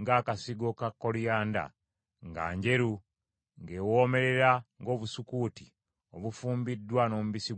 ng’akasigo ka koliyanda, nga njeru; ng’ewoomerera ng’obusukuuti obufumbiddwa n’omubisi gw’enjuki.